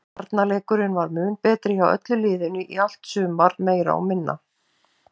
Varnarleikurinn var mun betri hjá öllu liðinu í allt sumar meira og minna.